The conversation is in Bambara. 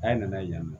A ye na ye yan nɔ